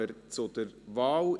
Dann kommen wir zur Wahl.